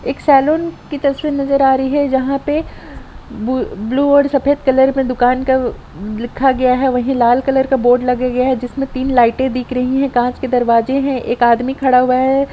एक सैलून की तस्वीर नजर आ रही है जहां पे ब्लू और सफेद कलर में दुकान का लिखा गया है वही लाल कलर का बोर्ड लगे गया है जिसमे तीन लाइटें दिख रही कांच के दरवाजे है एक आदमी खड़ा हुआ है।